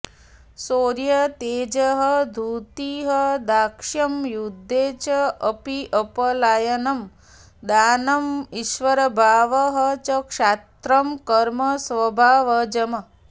शौर्यं तेजः धृतिः दाक्ष्यं युद्धे च अपि अपलायनम् दानम् ईश्वरभावः च क्षात्रं कर्म स्वभावजम्